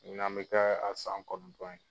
ɲinan bɛ kɛ a san kɔnɔntɔn ye !